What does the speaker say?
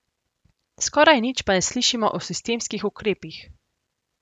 Skoraj nič pa ne slišimo o sistemskih ukrepih.